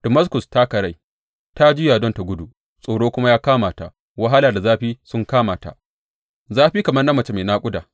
Damaskus ta karai ta juya don ta gudu tsoro kuma ya kama ta; wahala da zafi sun kama ta, zafi kamar na mace mai naƙuda.